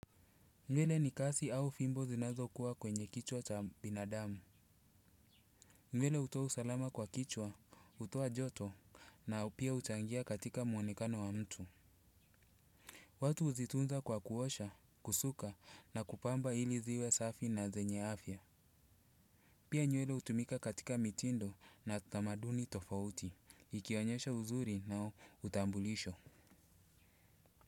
Nywele ni kasi au fimbo zinazokuwa kwenye kichwa cha binadamu. Nywele hutoa usalama kwa kichwa, hutoa joto, na pia huchangia katika muonekano wa mtu. Watu huzitunza kwa kuosha, kusuka na kupamba ili ziwe safi na zenye afya. Pia nywele hutumika katika mitindo na tamaduni tofauti, ikionyesha uzuri na utambulisho.